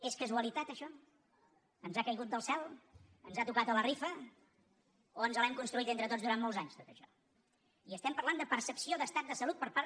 és casualitat això ens ha caigut del cel ens ha tocat a la rifa o ens ho hem construït entre tots durant molts anys tot això i estem parlant de percepció d’estat de salut per part